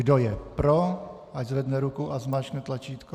Kdo je pro, ať zvedne ruku a zmáčkne tlačítko.